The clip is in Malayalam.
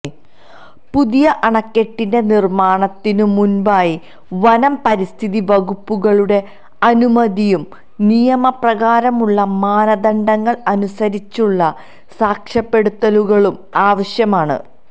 പുതിയ അണക്കെട്ടിന്റെ നിർമ്മാണത്തിനു മുൻപായി വനം പരിസ്ഥിതി വകുപ്പുകളുടെ അനുമതിയും നിയമ പ്രകാരമുള്ള മാനദണ്ഡങ്ങൾ അനുസരിച്ചുള്ള സാക്ഷ്യപ്പെടുത്തലുകളും ആവശ്യമാണ്